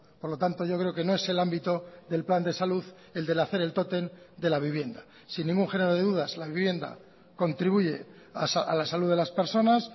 por lo tanto yo creo que no es el ámbito del plan de salud el del hacer el tótem de la vivienda sin ningún género de dudas la vivienda contribuye a la salud de las personas